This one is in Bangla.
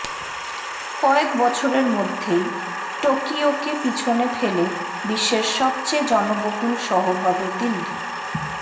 কয়েক বছরের মধ্যেই টোকিওকে পিছনে ফেলে বিশ্বের সবচেয়ে জনবহুল শহর হবে দিল্লি